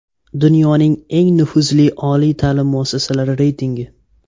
Dunyoning eng nufuzli oliy ta’lim muassasalari reytingi.